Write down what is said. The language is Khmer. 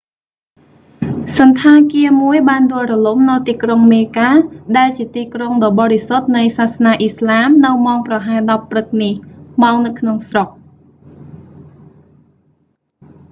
សណ្ឋាគារមួយបានដួលរលំនៅទីក្រុងមេកា mecca ដែលជាទីក្រុងដ៏បរិសុទ្ធនៃសាសនាអ៊ីស្លាមនៅម៉ោងប្រហែល 10 ព្រឹកនេះ ម៉ោងនៅក្នុងស្រុក